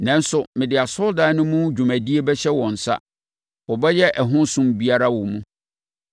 Nanso mede asɔredan no mu dwumadie bɛhyɛ wɔn nsa. Wɔbɛyɛ ɛho som biara wɔ mu.